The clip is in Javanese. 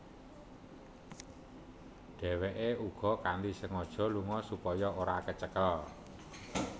Dheweke uga kanthi sengaja lunga supaya ora kecekel